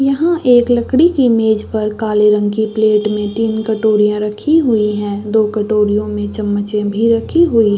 यहाँ एक लकड़ी की मेज पर काले रंग की प्लेट में तीन कटोरियाँ रखी हुईं हैं दो कटोरियों में चम्मचे भी रखी हुईं --